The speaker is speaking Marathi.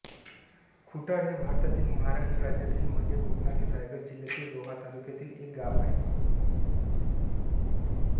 खुटाळ हे भारतातील महाराष्ट्र राज्यातील मध्य कोकणातील रायगड जिल्ह्यातील रोहा तालुक्यातील एक गाव आहे